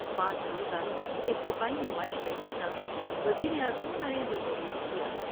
پانچ روزہ اس دفاعی نمائش کا افتتاح وزیر اعظم نریندرمودی نے کیا ۔